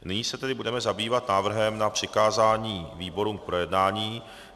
Nyní se tedy budeme zabývat návrhem na přikázání výborům k projednání.